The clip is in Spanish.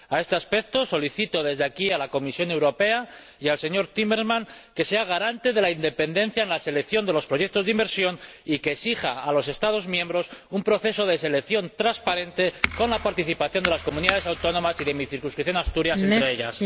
A este respecto, solicito desde aquí a la Comisión Europea y al señor Timmermans que sean garantes de la independencia en la selección de los proyectos de inversión y que exijan a los Estados miembros un proceso de selección transparente, con la participación de las comunidades autónomas y de mi circunscripción, Asturias, entre ellas.